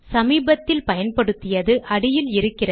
சமீபத்தில் பயன்படுத்தியது அடியில் இருக்கும்